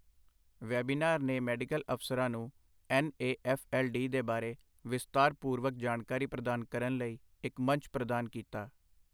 Webinar ਨੇ medical ਅਫ਼ਸਰਾਂ ਨੂੰ N A F L D ਦੇ ਬਾਰੇ ਵਿਸਤਾਰਪੂਰਵਕ ਜਾਣਕਾਰੀ ਪ੍ਰਦਾਨ ਕਰਨ ਲਈ ਇੱਕ ਮੰਚ ਪ੍ਰਦਾਨ ਕੀਤਾ।